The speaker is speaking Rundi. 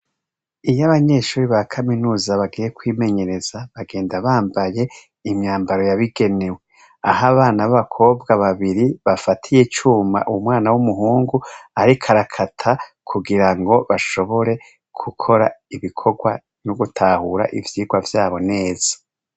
Iyo abanyeshuri ba kaminuza bagiye kwimenyereza bagenda bambaye imyambaro yabigenewe aho abana babakobwa babiri bafatiye icuma umwana w'umuhungu ariko arakata kugirango bashobore gukora ibikorwa no gutahura ivyirwa vyabo neza.